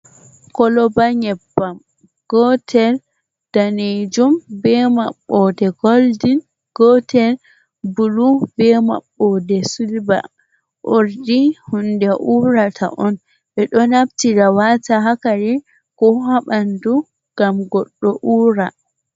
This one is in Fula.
Koloba nyebbam gootel daneejum, be maɓɓoode goldin. Gootel bulu, be maɓɓoode silva. Urdi hunde uurata on, ɓe ɗo naftira waata haa kare, ko haa ɓanndu ngam goɗɗo uura.